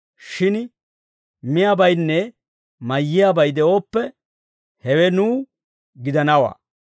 Shin miyaabaynne mayiyaabay de'ooppe, hewe nuw gidanawaa.